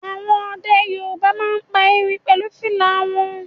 Àwọn ọdẹ Yorùbá máa ń pa erin pẹ̀lú fìlà wọn